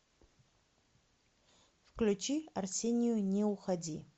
включи арсению не уходи